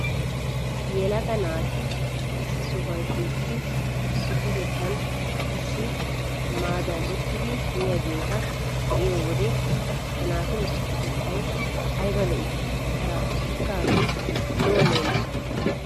Yelaga naati issi sohuwan shiiqidi issippetettan issi maaddan uttidi miyageeta be'iyo wode ha naatu issippetettay ayba lo'ii! Haraatussikke hagee lo'o leemiso.